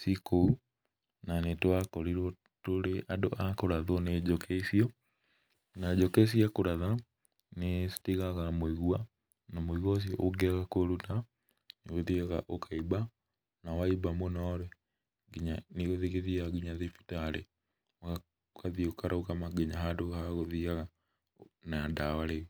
ciĩ kũu na nĩ twakorirwo tũrĩ andũ a kũrathwo nĩ njũkĩ icio, na njũkĩ cia kũratha nĩ citigaga mũigua na mũigua ũcio ũngĩaga kũũruta nĩ ũthiaga ũkaimba na waimba mũno nginya nĩ ũthiaga nginya thibitarĩ ũgatuĩka nginya wagũthiaga na dawa rĩu.